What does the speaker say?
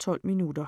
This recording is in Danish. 12 minutter.